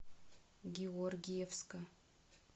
георгиевска